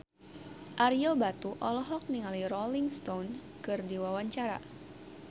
Ario Batu olohok ningali Rolling Stone keur diwawancara